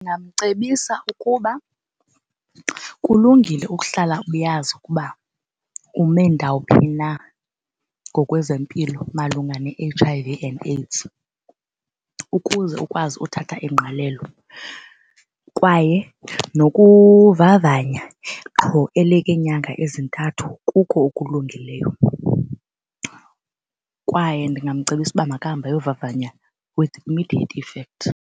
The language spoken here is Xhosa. Ndingamcebisa ukuba kulungile ukuhlala uyazi ukuba ume ndawuphi na ngokwezempilo malunga ne-H_I_V and AIDS, ukuze ukwazi uthatha ingqalelo kwaye nokuvavanya qho elekwe nyanga ezintathu kuko okulungileyo. Kwaye ndingamcebisa uba makahambe ayovavanya with immediate effect.